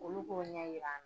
Olu k'o ɲɛ yira an